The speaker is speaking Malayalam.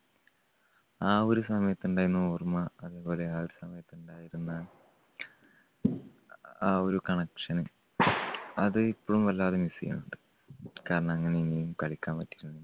ആ ഒരു സമയത്തുണ്ടായിരുന്ന ഓർമ്മ. അതുപോലെ ആ സമയത്തുണ്ടായിരുന്ന അ ആ ഒരു connection അത് ഇപ്പഴും വല്ലാതെ miss ചെയ്യുന്നുണ്ട്. കാരണം എങ്ങനെയെങ്കിലും കളിക്കാൻ പറ്റിയിരുന്നെങ്കിൽ